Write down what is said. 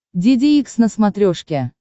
деде икс на смотрешке